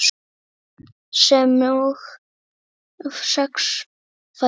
sem og sex fætur.